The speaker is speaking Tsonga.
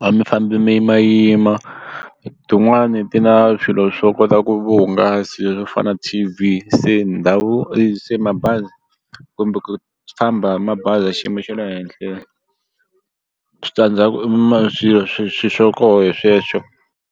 a mi famba mi yimayima tin'wani ti na swilo swo kota ku vuhungasi swo fana na t_v se ndhawu se mabazi kumbe ku famba mabazi ya xiyimo xa le henhla switandzhaku i swilo swo koho sweswo.